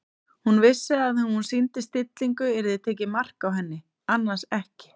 Hún vissi að ef hún sýndi stillingu yrði tekið mark á henni- annars ekki.